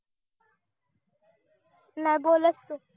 नाही बोलच तू